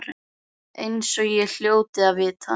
Eins og ég hljóti að vita.